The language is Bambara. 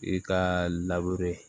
I ka